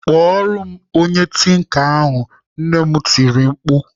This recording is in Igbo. "Kpọrọ m onye tinka ahụ! "Nne m tiri mkpu